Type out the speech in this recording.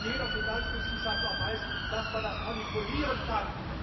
Jeder Finanzwissenschaftler weiß, dass man das manipulieren kann.